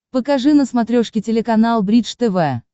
покажи на смотрешке телеканал бридж тв